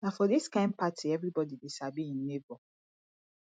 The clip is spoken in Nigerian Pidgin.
na for dis kain party everybodi dey sabi im nebo